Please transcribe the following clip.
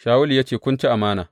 Shawulu ya ce, Kun ci amana.